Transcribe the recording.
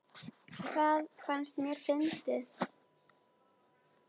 Það fannst mér fyndið.